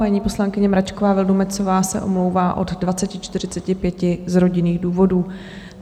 Paní poslankyně Mračková Vildumetzová se omlouvá od 20.45 z rodinných důvodů.